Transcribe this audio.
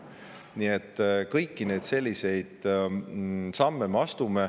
Nii et kõiki neid samme me astume.